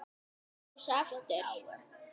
Kjósa aftur.